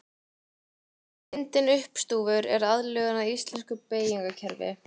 Myndin uppstúfur er aðlögun að íslensku beygingarkerfi.